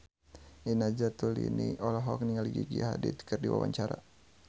Nina Zatulini olohok ningali Gigi Hadid keur diwawancara